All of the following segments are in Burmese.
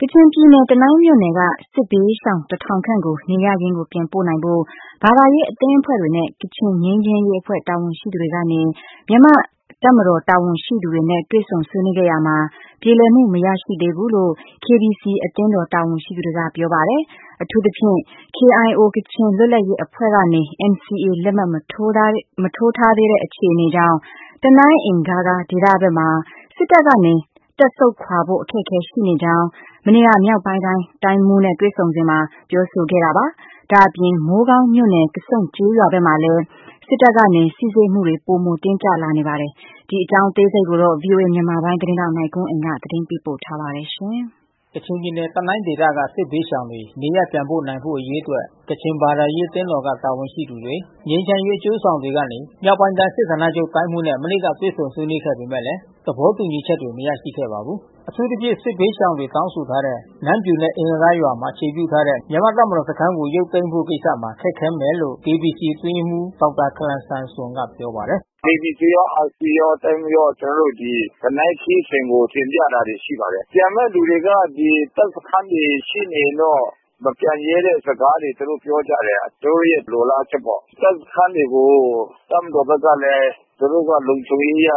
ကချင်ပြည်နယ်တနိုင်းမြို့နယ်က စစ်ဘေးရှောင်တထောင်ခန့်ကို နေရပ်ရင်းကိုပြန်နိုင်ဖို့ ဘာသာရေးအသင်းအဖွဲ့တွေနဲ့ ကချင်ငြိမ်းချမ်းရေးအဖွဲ့ တာဝန်ရှိသူတွေကနေ မြန်မာ့တပ်မတော်တာဝန်ရှိသူတွေနဲ့တွေ့ဆုံဆွေးနွေးခဲ့ရာမှာ ပြေလည်မှု မရရှိသေးဘူးလို့ KBCအသင်းတော်တာဝန်ရှိသူတွေကပြောပါတယ်။ အထူးသဖြင့် KIOကချင်လွတ်လပ်ရေးအဖွဲ့အနေနဲ့ NCAလက်မှတ်မထိုးသေးတဲ့အခြေအနေကြောင့် တနိုင်းအင်ဂါးဂါးဒေသဘက်မှာတပ်မတော်ကနေ တပ်ဆုတ်ခွါဖို့အခက်ခဲ ရှိနေကြောင်း မနေ့က မြောက်ပိုင်းတိုင်းတိုင်းမှူးနဲ့တွေ့ဆုံစဉ်မှာပြောဆိုခဲ့တာပါ။ ဒါ့အပြင် မိုးကောင်းမြို့နယ်ကဆုန့်ကျေးရွာ ဘက်မှာလဲ တပ်မတော်ကနေ စီစစ်မှုတွေပိုမိုတင်းကြပ်လာနေပါတယ်။ ထိုင်းအခြေစိုက်ဗွီအိုအေသတင်းထောက်နိုင်ကွန်းအိန်ကနေ သတင်းပေးပို့ထားပါတယ်။ ကချင်ပြည်နယ် တနိုင်းဒေသကစစ်ဘေးရှောင်တွေနေရပ်ပြန်ပို့နိုင်ဖို့အရေးအတွက် ကချင်ဘာသာရေးအသင်းတော်က တာဝန် ရှိသူတွေ ငြိမ်းချမ်းရေးအကျိုးဆောင်တွေကနေ မြောက်ပိုင်းတိုင်းစစ်ဌာနချုပ်တိုင်းမှူးနဲ့ မနေ့ကတွေ့ဆုံဆွေးနွေးခဲ့ပေမဲ့ သဘော တူညီချက်တွေမရရှိခဲ့ပါဘူး။ အထူးသဖြင့် စစ်ဘေးရှောင်တွေတောင်းဆိုထားတဲ့ နမ်းဗျူနဲ့အင်ဂါးဂါးရွာမှာ အခြေပြုထားတဲ့မြန်မာတပ်မတော်စခမ်းကို ရုပ် သိမ်းဖို့ကိစ္စမှာ ခက်ခဲမယ်လို့ KBCအတွင်းရေးမှူးဒေါက်တာခလမ်ဆန်ဆွမ်ကပြောပါတယ်။ “KBCရော RCရော တိုင်းမှူးရော ကျွန်တော်တို့တနိုင်းခရီးစဉ်ကိုတင်ပြတာရှိပါတယ်။ ပြန်မဲ့သူတွေက ဒီတပ်စခမ်းတွေရှိနေ ရင်တော့ မပြန်ရဲတဲ့စကားတွေသူတို့ပြောကြတယ်။ သူတို့ရဲ့လိုလားချက်ပေါ့။ တပ်စခမ်းတွေကိုတပ်မတော်ဘက်ကလဲ သူတို့ရဲ့လုံခြုံရေးအရ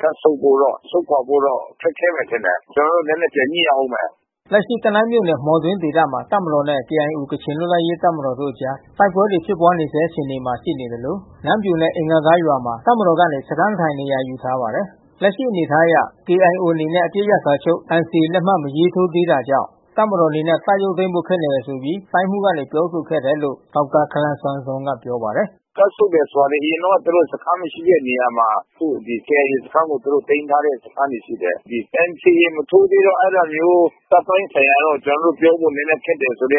တပ်ဆုတ်ဖို့တော့ ဆုတ်ခွါဖို့တော့ခက်ခဲမယ်ထင်တယ်။ ကျွန်တော်တို့နဲနဲပြန်ညှိရဦးမယ်။” လက်ရှိတနိုင်းမြို့နယ်မှော်တွင်းဒေသမှာ တပ်မတော်နဲ့ KIOကချင်လွတ်လပ်ရေးတပ်မတော်တို့အကြားတိုက်ပွဲ တွေ ဖြစ်ပွါးနေဆဲ အခြေအနေမှာရှိနေသလို နမ်းဗျူနဲ့အင်ဂါးဂါးရွာမှာ တပ်မတော်ကနေ စခမ်းထိုင်နေရာယူထားပါတယ်။ လက်ရှိအနေအထားအရ KIOအနေနဲ့ အပစ်ရပ်စာချုပ်NCAလက်မှတ်မရေးထိုးသေးတာကြောင့် တပ်မတော်အနေနဲ့ တပ်ရုပ် သိမ်းဖို့ခက်တယ်လို့ တိုင်းမှူးကနေပြောဆိုခဲ့တယ်လို့ဒေါက်တာခလမ်ဆန်ဆွမ်ကပြောပါတယ်။ “တပ်ဆုတ်တယ်ဆိုတာ အရင်တုန်းကသူတို့စခမ်းမရှိတဲ့နေရာမှာ အခုKIAစခမ်းကိုသူတို့သိမ်းထားတဲ့စခမ်းတွေရှိတယ်။ သူတို့ဘက် က ပြောတာတော့ NCAမထိုးသေးတော့ အဲတာမျိုးတပ်ပိုင်းဆိုင်ရာတော့ ကျွန်တော်တို့ပြောဖို့နဲနဲခက်တယ်အနေ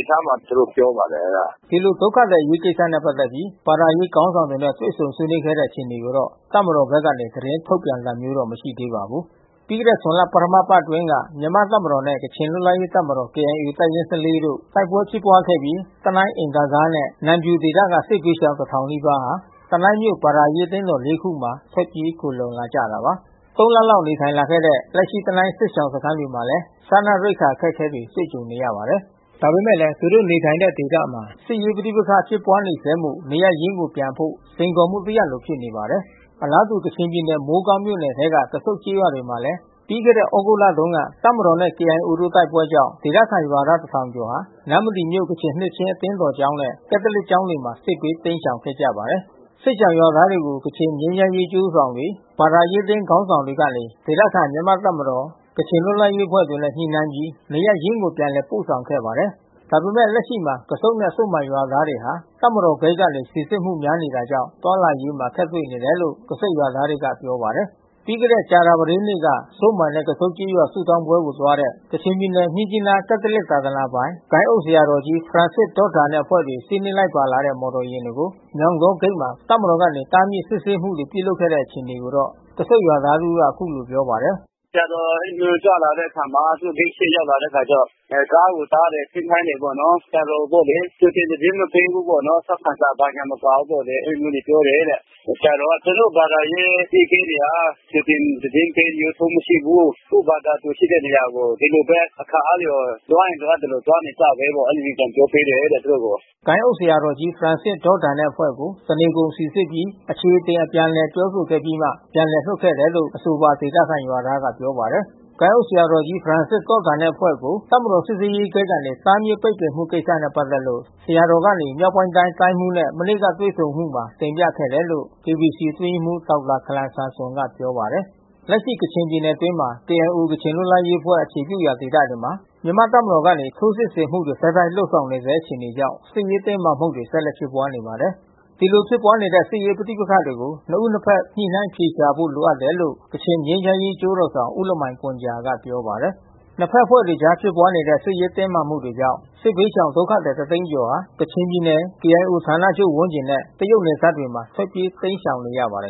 အထားမှာ သူတို့ ပြောပါတယ်။” ဒီလိုဒုက္ခသည်အရေးကိစ္စနဲ့ပက်သက်ပြီး ဘာသာရေးခေါင်းဆောင်တွေနဲ့တွေ့ဆုံဆွေးနွေးခဲ့တဲ့အခြေအနေကိုတော့ တပ်မတော် ဘက်က သတင်းထုတ်ပြန်တာမျိုးမရှိသေးပါဘူး။ ပြီးခဲ့တဲ့ ဇွန်လ ပထမပတ်အတွင်းက မြန်မာ့ တပ်မတော်နဲ့ ကချင်လွတ်လပ်ရေးတပ်မတော် တပ်ရင်း ၁၄ တို့ တိုက်ပွဲဖြစ် ပွားခဲ့တဲ့ တနိုင်း အင်ဂါးဂါးနဲ့နမ်ဗျူဒေသက စစ်ဘေးရှောင် နီးပါးဟာ တနိုင်းမြို့ဘာသာရေးအသင်းတော် ခုမှာ ထွက် ပြေး ခိုလှုံလာကြတာပါ။ လလောက်နေထိုင်လာခဲ့တဲ့ လက်ရှိတနိုင်းစစ်ရှောင်စခမ်းအတွင်းမှာလဲ စားနပ်ရိက္ခာအခက်ခဲတွေ တွေ့ကြုံ နေရပါတယ်။ ဒါပေမဲ့လဲ သူတို့နေထိုင်တဲ့ဒေသမှာ စစ်ရေးပဋိပက္ခဖြစ်ပွါးနေဆဲမို့ နေရပ်ရင်းကိုပြန်ဖို့စိမ်ခေါ်မှုတရပ်လိုဖြစ်နေပါတယ်။ အလားတူ ကချင်ပြည်နယ် မိုးကောင်းမြို့နယ်ထဲက ကဆုန့်ကျေးရွာတွေမှာလဲ ပြီးခဲ့တဲ့သြဂုတ်တုန်းက တပ်မတော်နဲ့ KIO တို့တိုက်ပွဲကြောင့် ဒေသခံရွာသားတထောင်ကျော်ဟာ နမ္မတီမြို့ကချင်နှစ်ခြင်းအသင်းတော်ကျောင်းနဲ့ ကက်သလစ်ကျောင်း တွေ မှာ စစ်ဘေးတိမ်းရှောင်ခဲ့ကြပါတယ်။ စစ်ရှောင်ရွာသားတွေကို ကချင်ငြိမ်းချမ်းရေးအကျိုးဆောင်တွေ ဘာသာရေးအသင်း ခေါင်းဆောင်တွေကနေ ဒေသခံမြန်မာ့ တပ်မတော် ကချင်လွတ်လပ်ရေးအဖွဲ့တွေနဲ့ညှိနှိုင်းပြီး နေရပ်ရင်းကို ပြန်လည်ပို့ဆောင်ခဲ့ပါတယ်။ ဒါပေမဲ့လက်ရှိမှာ ကဆုန့်နဲ့ဇွပ်မိုင်ရွာသားတွေဟာ တပ်မတော်ဂိတ်တွေကနေစီစစ်မှုများနေတာကြောင့် သွားလာရေးမှာ အခက်တွေ့ နေတယ်လို့ ကဆုန့်ရွာသားတွေကပြောပါတယ်။ ပြီးခဲ့တဲ့ကြာသာပတေးနေ့က ဇွတ်မိုင်နဲ့ကဆုန့်ကျေးရွာဆုတောင်းပွဲသွားတဲ့ ကချင်ပြည်နယ်၊မြစ်ကြီးနားကက်သလစ်သာသနာ ပိုင်၊ ဂိုဏ်းအုပ်ဆရာတော်ကြီးဖရန်စစ်ဒေါ့တန်နဲ့အဖွဲ့တွေ စီးနင်းလိုက်ပါလာတဲ့မော်တော်ယာဉ်တွေကို ညောင်တောဂိတ်မှာ တပ်မတော်ကနေ တားမြစ်စစ်ဆေးမှုတွေပြုလုပ်ခဲ့တဲ့အခြေအနေကို ကဆုန့်ရွာသားတဦးကပြောပါတယ်။ “ဆရာတော်အဲဒီလိုမျိုးကြွလာတဲ့အခါမှာ သူတို့ဂိတ်ရှေ့ရောက်လာတဲ့အခါကျတော့ ကားကိုတားတယ်။ ဆင်းခိုင်းတယ်ပေါ့နော်။ ဆရာတော်ကိုပေါ့လေ ကြိုတင်သတင်းမပေးဘူးပေါ့နော်။ ထောက်ခံစာ ဘာညာမပါဘူးပေါ့အဲဒီလိုမျိုးပြောတယ်။ ဆရာတော်က သူတို့ဘာသာရေးအကြီးအကဲတွေက ကြိုတင်သတင်းပေးတာမျိုးထုံးမရှိဘူး။ ကိုယ့်ဘာသာသူရှိတဲ့နေရာကို အခါအားလျော်စွာ လိုအပ်ရင်လိုအပ်သလိုသွားနေကြဘဲပေါ့။ အဲဒီလိုပြန်ပြောပေးတယ်တဲ့သူတို့ကို။” ဂိုဏ်းအုပ်ဆရာတော်ကြီးဖရန်စစ်ဒေါ့တန်နဲ့အဖွဲ့ကို တနေကုန်စီစစ်ပြီး အခြေအတင်အပြန်အလှန်ပြောဆိုခဲ့ပြီးမှ ပြန်လွှတ် ခဲ့တယ်လို့ အဆိုပါဒေသခံရွာသားကပြောပါတယ်။ ဂိုဏ်းအုပ်ဆရာတော်ကြီးဖရန်စစ်ဒေါ့တန်နဲ့အဖွဲ့ကို တပ်မတော်စစ်ဆေးရေးဂိတ်ကနေ တားမြစ်ပိတ်ပင်မှုကိစ္စနဲ့ပက်သက်လို့ ဆရာတော်ကနေ မြောက်ပိုင်းတိုင်းတိုင်းမှူးနဲ့ မနေ့ကတွေ့ဆုံစဉ်မှာတင်ပြခဲ့တယ်လို့ KBCအတွင်းရေးမှူးဒေါက်တာခလမ်ဆန်ဆွမ် က ပြောပါတယ်။ လက်ရှိကချင်ပြည်နယ်အတွင်းမှာ KIOကချင်လွတ်လပ်ရေးအဖွဲ့အခြေပြုရာဒေသမှာ မြန်မာ့တပ်မတော်ကနေထိုးစစ်ဆင်မှုတွေ ဆက်လက်လုပ်ဆောင်နေဆဲအခြေအနေကြောင့် စစ်ရေးတင်းမာမှုတွေဆက်လက်ဖြစ်ပွါးနေပါတယ်။ ဒီလိုဖြစ်ပွါးနေတဲ့စစ်ရေးပဋိပက္ခတွေကို နှစ်ဦးနှစ်ဖက်ညှိနှိုင်းအဖြေရှာသွားဖို့လိုတယ်လို့ ကချင်ငြိမ်းချမ်းရေးအကျိုးဆောင် ဦးလမိုင်ဂွမ်ဂျာကပြောပါတယ်။ နှစ်ဖက်အဖွဲ့တွေအကြားဖြစ်ပွါးနေတဲ့စစ်ရေးတင်းမာမှုတွေကြောင့် စစ်ဘေးရှောင်ဒုက္ခသည်တသိန်းကျော်ဟာ ကချင်ပြည်နယ် KIOဌာနချုပ်ဝန်းကျင်နဲ့ တရုတ်နယ်စပ်တွေမှာ ထွက်ပြေးတိမ်းရှောင်နေရပါတယ်